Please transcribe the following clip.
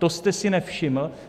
To jste si nevšiml?